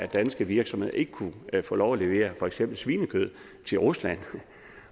danske virksomheder ikke kunne få lov at levere for eksempel svinekød til rusland